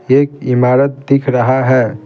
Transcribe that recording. एक इमारत दिख रहा है।